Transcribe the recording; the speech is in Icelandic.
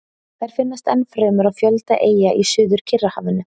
Þær finnast ennfremur á fjölda eyja í Suður-Kyrrahafinu.